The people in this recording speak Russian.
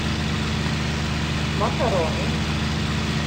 макароны